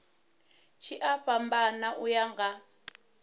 tshi a fhambana uya nga